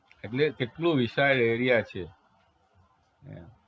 એટલે કેટલું વિશાળ area છે